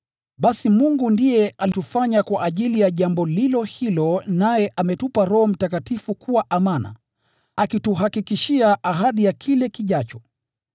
Basi Mungu ndiye alitufanya kwa ajili ya jambo lilo hilo naye ametupa Roho Mtakatifu kuwa amana, akituhakikishia ahadi ya kile kijacho.